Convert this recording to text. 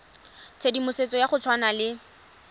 tshedimosetso ya go tshwana le